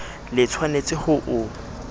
le tsh wanetse ho o